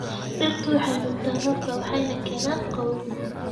Dhirtu waxay nuugtaa roobka waxayna keenaan qabow.